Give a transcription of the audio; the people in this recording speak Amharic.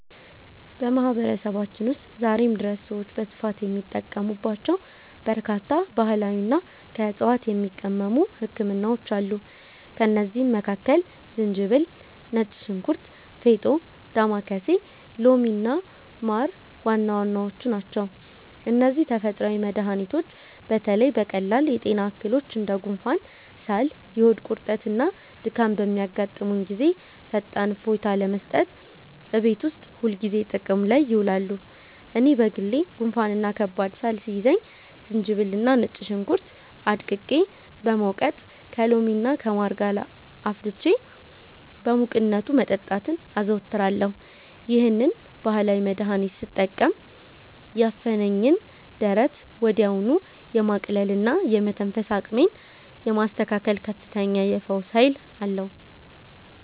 በማህበረሰባችን ውስጥ ዛሬም ድረስ ሰዎች በስፋት የሚጠቀሙባቸው በርካታ ባህላዊና ከዕፅዋት የሚቀመሙ ህክምናዎች አሉ። ከእነዚህም መካከል ዝንጅብል፣ ነጭ ሽንኩርት፣ ፌጦ፣ ዳማከሴ፣ ሎሚና ማር ዋና ዋናዎቹ ናቸው። እነዚህ ተፈጥሯዊ መድኃኒቶች በተለይ በቀላል የጤና እክሎች እንደ ጉንፋን፣ ሳል፣ የሆድ ቁርጠትና ድካም በሚያጋጥሙን ጊዜ ፈጣን እፎይታ ለመስጠት እቤት ውስጥ ሁልጊዜ ጥቅም ላይ ይውላሉ። እኔ በግሌ ጉንፋንና ከባድ ሳል ሲይዘኝ ዝንጅብልና ነጭ ሽንኩርት አድቅቄ በመውቀጥ፣ ከሎሚና ከማር ጋር አፍልቼ በሙቅነቱ መጠጣትን አዘወትራለሁ። ይህንን ባህላዊ መድኃኒት ስጠቀም ያፈነኝን ደረት ወዲያውኑ የማቅለልና የመተንፈስ አቅሜን የማስተካከል ከፍተኛ የፈውስ ኃይል አለው።